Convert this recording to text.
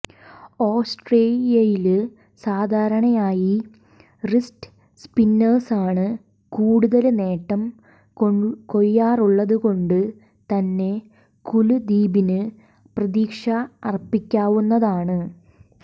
ഓസ്ട്രേലിയയില് സാധാരണയായി റിസ്റ്റ് സ്പിന്നേഴ്സാണ് കൂടുതല് നേട്ടം കൊയ്യാറുള്ളതുകൊണ്ട് തന്നെ കുല്ദീപില് പ്രതീക്ഷ അര്പ്പിക്കാവുന്നതാണ്